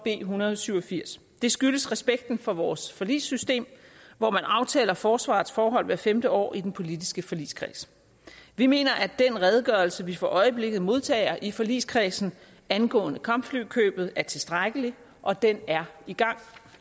en hundrede og syv og firs det skyldes respekten for vores forligssystem hvor man aftaler forsvarets forhold hvert femte år i den politiske forligskreds vi mener at den redegørelse vi for øjeblikket modtager i forligskredsen angående kampflykøbet er tilstrækkelig og den er i gang